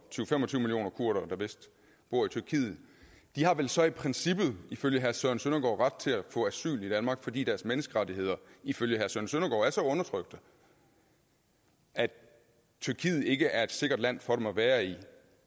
til fem og tyve millioner kurdere der vist bor i tyrkiet har vel så i princippet ifølge herre søren søndergaard ret til at få asyl i danmark fordi deres menneskerettigheder ifølge herre søren søndergaard er så undertrykte at tyrkiet ikke er et sikkert land for dem at være i